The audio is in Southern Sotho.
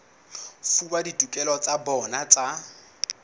fuwa ditokelo tsa bona tsa